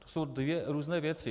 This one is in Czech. To jsou dvě různé věci.